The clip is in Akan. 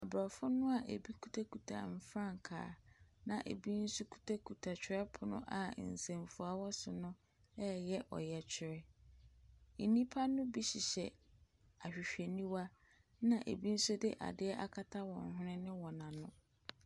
Aborɔfo no a ɛbu kutakuta frankaa, a ɛbi nso kitakita twerɛpono a nsɛmfua wɔ so no reyɛ ɔyɛkyerɛ. Nnipa no bi hyehyɛ ahwehwɛniwa, ɛna ɛbi nso de adeɛ akata wɔn hwene ne wan ano.